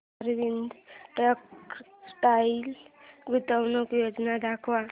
Arvind textile गुंतवणूक योजना दाखव